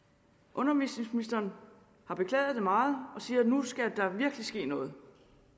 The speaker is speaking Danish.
undervisningsministeren har beklaget det meget og siger at nu skal der virkelig ske noget